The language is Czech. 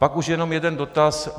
Pak už jen jeden dotaz.